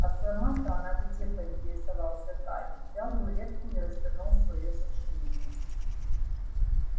а сама-то она где поинтересовался гарри взял рулетку и развернул своё сочинение